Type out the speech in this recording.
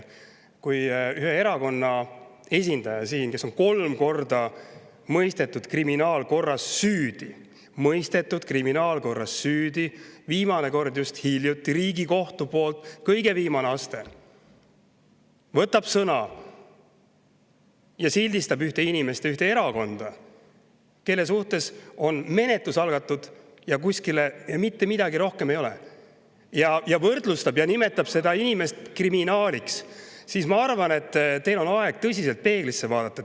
Kui siin esindaja ühest erakonnast, mis on kolm korda mõistetud kriminaalkorras süüdi – mõistetud kriminaalkorras süüdi, viimane kord just hiljuti Riigikohtus, kõige viimases astmes –, võtab sõna ja sildistab üht inimest, üht erakonda, kelle suhtes on menetlus algatatud ja mitte midagi rohkem ei ole, ja nimetab üht inimest kriminaaliks, siis ma arvan, et teil on aeg tõsiselt peeglisse vaadata.